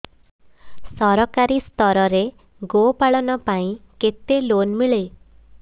ସରକାରୀ ସ୍ତରରେ ଗୋ ପାଳନ ପାଇଁ କେତେ ଲୋନ୍ ମିଳେ